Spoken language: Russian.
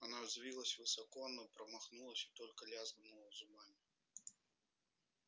она взвилась высоко но промахнулась и только лязгнула зубами